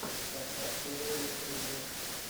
поставь первые интервью